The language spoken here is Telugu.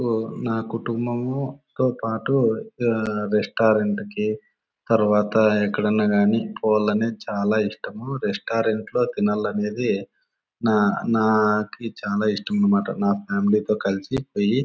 ఇప్పుడు నా కుటుంబముతో పాటు రెస్టారెంట్ కి తర్వాత ఎక్కడైనా గానీ పోవడం చాలా ఇష్టం. రెస్టారెంట్ లో తినాలనేది నా నాకి చాలా ఇష్టం అన్నమాట.నా ఫామిలీ తో కలిసి పోయి--